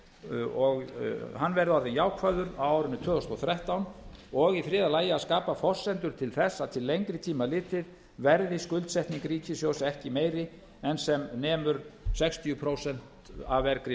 ríkissjóðs og hann verði orðinn jákvæður á árinu tvö þúsund og þrettán og í þriðja lagi að skapa forsendur til þess að til lengri tíma litið verði skuldsetning ríkissjóðs ekki meiri en sem nemur sextíu prósent af vergri